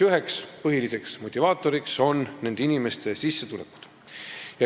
Üks põhiline nende inimeste motivaator on sissetulekud.